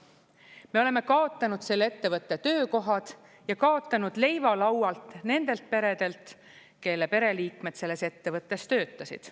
Me oleme kaotanud selle ettevõtte töökohad ja kaotanud leiva laualt nendelt peredelt, kelle pereliikmed selles ettevõttes töötasid.